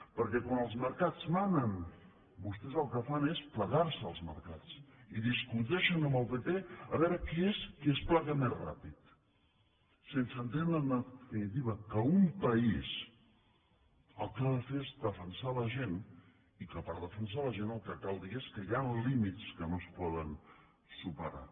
perquè quan els mercats manen vostès el que fan és plegar se als mercats i discuteixen amb el pp a veure qui és que es plega més ràpid sense entendre en definitiva que un país el que ha de fer és defensar la gent i que per defensar la gent el que cal dir és que hi han límits que no es poden superar